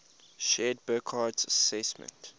shared burckhardt's assessment